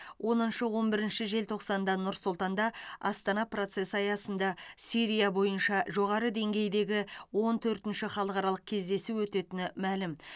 оныншы он бірінші желтоқсанда нұр сұлтанда астана процесі аясында сирия бойынша жоғары деңгейдегі он төртінші халықаралық кездесу өтетіні мәлім